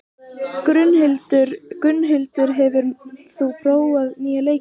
Gunnhildur, hefur þú prófað nýja leikinn?